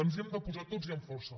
ens hi hem de posar tots i amb força